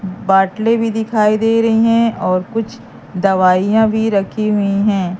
बाटलें भी दिखाई दे रही हैं और कुछ दवाइयां भी रखी हुई हैं।